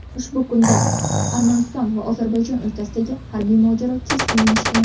Ushbu kunda Armaniston va Ozarbayjon o‘rtasidagi harbiy mojaro keskinlashgan.